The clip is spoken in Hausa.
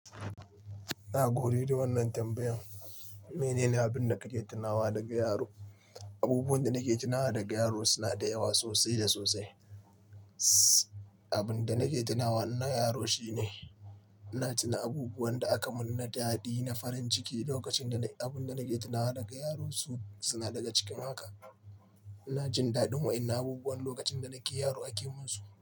Na gode da wannan tambayan. Mene ne abin da kake tunawa daga yaro? Abubuwan da nake tunawa daga yaro suna da yawa sosai da sosai. Abin da nake tunawa na yaro shi ne ina tuna abubuwan da aka mun na daɗi, na farin ciki lokacin da Abin da nake tunawa daga yaro suna daga cikin haka. Ina jin daɗin wa'innan abubuwan lokacin da nake yaro ake mun su.